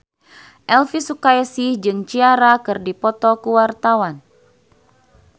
Elvi Sukaesih jeung Ciara keur dipoto ku wartawan